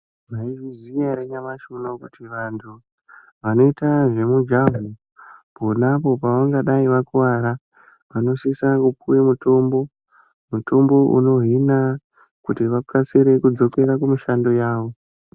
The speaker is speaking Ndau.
Maizviziya ere nyamashi unouyu kuti vantu vanoita zvemujaho. Ponapo pavangadai vakuvara vanosisa kupuva mutombo. Mutombo unohina kuti vakasire kudzokera kumushando yavo.